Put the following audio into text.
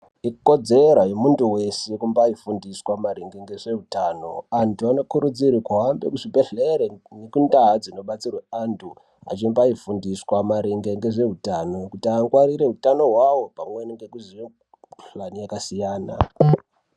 Ikodzero yemuntu weshe kubaifundiswa ngezvehutano antu anokurudzirwa kuhambe kuzvibhedhlera ngendau dzinobatsirwa antu achibaifundiswa maringe ngezvehutano kuti aningire hutano hwavo pamweni nekuziya mikuhlani yakasiyana.